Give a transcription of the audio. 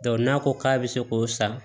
n'a ko k'a bɛ se k'o san